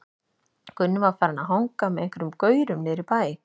Gunni var farinn að hanga með einhverjum gaurum niðri í bæ.